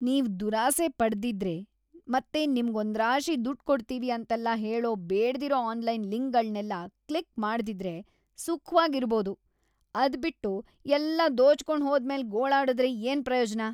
ನೀವ್‌ ದುರಾಸೆ ಪಡ್ದಿದ್ರೆ ಮತ್ತೆ ನಿಮ್ಗ್‌ ಒಂದ್ರಾಶಿ ದುಡ್ಡ್‌ ಕೊಡ್ತೀವಿ ಅಂತೆಲ್ಲ ಹೇಳೋ ಬೇಡ್ದಿರೋ ಆನ್ಲೈನ್‌ ಲಿಂಕ್‌ಗಳ್ನೆಲ್ಲ ಕ್ಲಿಕ್‌ ಮಾಡ್ದಿದ್ರೆ ಸುಖವಾಗ್‌ ಇರ್ಬೋದು. ಅದ್ಬಿಟ್ಟು ಎಲ್ಲ ದೋಚ್ಕೊಂಡ್‌ ಹೋದ್ಮೇಲ್ ಗೋಳಾಡುದ್ರೆ ಏನ್‌ ಪ್ರಯೋಜ್ನ?